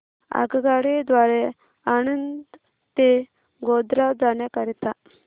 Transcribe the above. आगगाडी द्वारे आणंद ते गोध्रा जाण्या करीता